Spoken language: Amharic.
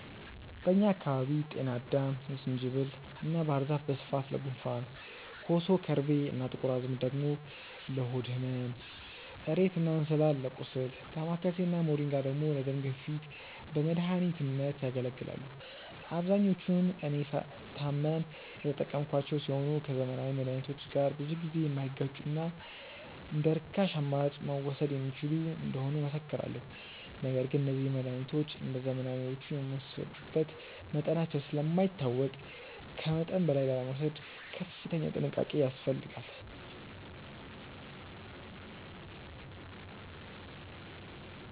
በእኛ አካባቢ ጤናአዳም፣ ዝንጅብል እና ባህር ዛፍ በስፋት ለጉንፋን፣ ኮሶ፣ ከርቤ እና ጥቁር አዝሙድ ደግሞ ለሆድ ህመም፣ እሬት እና እንስላል ለቁስል፣ ዳማከሴ እና ሞሪንጋ ደግሞ ለደም ግፊት በመድኃኒትነት ያገለግላሉ። አብዛኞቹን እኔ ስታመም የተጠቀምኳቸው ሲሆን ከዘመናዊ መድሃኒቶች ጋር ብዙ ጊዜ የማይጋጩና እንደርካሽ አማራጭ መወሰድ የሚችሉ እንደሆኑ እመሰክራለሁ። ነገር ግን እነዚህ መድሃኒቶች እንደዘመናዊዎቹ የሚወሰዱበት መጠናቸው ስለማይታወቅ ከመጠን በላይ ላለመውሰድ ከፍተኛ ጥንቃቄ ያስፈልጋል።